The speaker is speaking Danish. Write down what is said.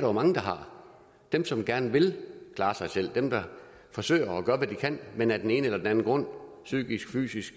jo mange der har dem som gerne vil klare sig selv dem der forsøger at gøre hvad de kan men af den ene eller den anden grund psykisk eller fysisk